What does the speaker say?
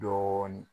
Dɔɔnin